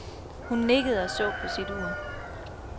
Hun nikkede og så på sit ur.